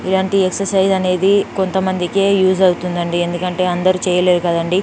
ఇలాంటి ఎక్ససైజ్ అనేది కొంతమందికే యూస్ అవుతుంది అండి ఎందుకంటే అందరూ చేయలేరు కదండీ.